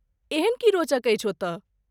एहन की रोचक अछि ओतय?